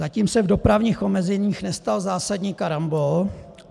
Zatím se v dopravních omezeních nestal zásadní karambol.